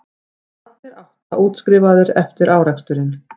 Allir átta útskrifaðir eftir áreksturinn